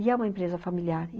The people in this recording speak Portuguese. E é uma empresa familiar.